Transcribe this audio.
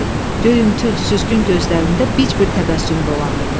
Göymtül, süzgün gözlərində bic bir təbəssüm dolanırdı.